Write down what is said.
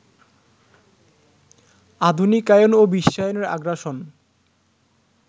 আধুনিকায়ন ও বিশ্বায়নের আগ্রাসন